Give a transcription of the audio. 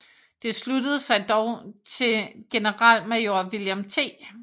Det sluttede sig dog til generalmajor William T